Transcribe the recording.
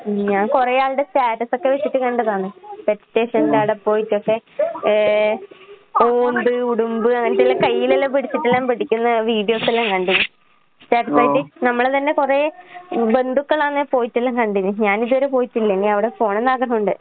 ഉം. ഞാൻ കൊറേയാൾടെ സ്റ്റാറ്റസൊക്കെ വെച്ചിട്ട് കണ്ടതാണ് പെറ്റ് സ്റ്റേഷന്റെവടെ പോയിട്ടൊക്കെ ഏ ഓന്ത് ഉടുമ്പ് അങ്ങനത്തെല്ലാം കയ്യിലെല്ലാം പിടിച്ചിട്ടെല്ലാം പിടിക്കുന്ന വീഡിയോസെല്ലാം കണ്ട്ന്. സ്റ്റാറ്റസ് ആയിട്ട് നമ്മളെ തന്നെ കൊറേ ഉം ബന്ധുക്കളങ്ങനെ പോയിട്ടിള്ള കണ്ടിന്. ഞാനിതുവരെ പോയിട്ടില്ല. ഇനിയവടെ പോണന്നാഗ്രഹോണ്ട്.